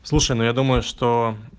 слушай но я думаю что